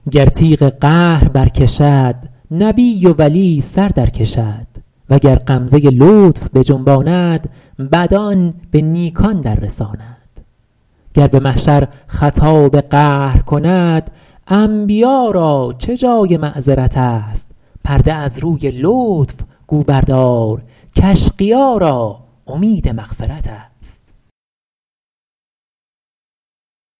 گر تیغ قهر بر کشد نبی و ولی سر در کشد وگر غمزه لطف بجنباند بدان به نیکان در رساند گر به محشر خطاب قهر کند انبیا را چه جای معذرت است پرده از روی لطف گو بردار کاشقیا را امید مغفرت است